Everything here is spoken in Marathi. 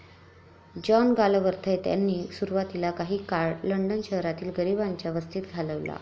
जॉन गालवर्थ्य यांनी सुरवातीला काही काळ लंडन शहरातील गरिबांच्या वस्तीत घालविला.